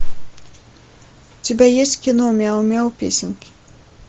у тебя есть кино мяу мяу песенки